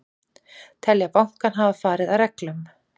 Telja bankann hafa farið að reglum